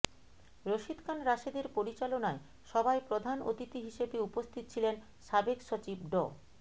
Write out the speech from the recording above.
রশিদ খান রাশেদের পরিচালনায় সভায় প্রধান অতিথি হিসেবে উপস্থিত ছিলেন সাবেক সচিব ড